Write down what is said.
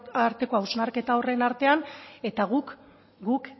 arteko hausnarketa horren artean eta guk